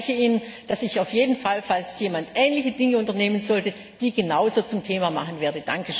Und ich verspreche Ihnen, dass ich auf jeden Fall, falls jemand ähnliche Dinge unternehmen sollte, die genauso zum Thema machen werde.